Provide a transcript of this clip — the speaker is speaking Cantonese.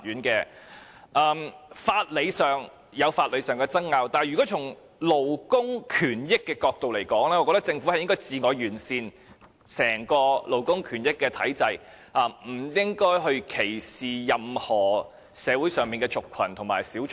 在法理上有法理上的爭拗，但如果從勞工權益的角度來看，我認為政府是應該自我完善整個勞工權益體制，不應該歧視社會上任何族群和小眾。